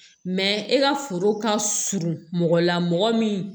e ka foro ka surun mɔgɔ la mɔgɔ min